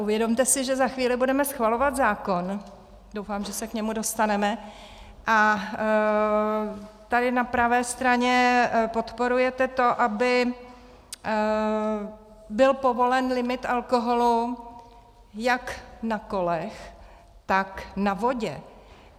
Uvědomte si, že za chvíli budeme schvalovat zákon, doufám, že se k němu dostaneme, a tady na pravé straně podporujete to, aby byl povolen limit alkoholu jak na kolech, tak na vodě.